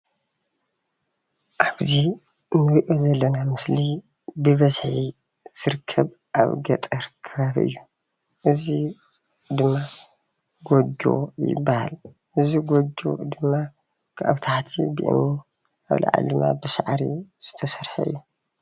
ኣብዙይ እንሪኦ ዘለና ምስሊ ብበዝሒ ዝርከብ ኣብ ገጠር ከባቢ ዝርከብ እዩ፡፡ እዚ ድማ ጎጆ ይባሃል፡፡ እዚ ጎጆ ድማ ካብ ታሕቲ ብእምኒ ኣብ ላዕሊ ድማ ብሳዕሪ ዝተሰርሐ እዩ፡፡